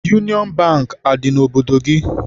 Yunịọn Bankị, adị n'obodo gị?